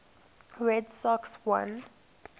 red sox won